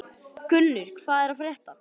Gunnur, hvað er að frétta?